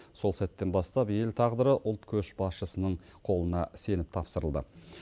сол сәттен бастап ел тағдыры ұлт көшбасшысының қолына сеніп тапсырылды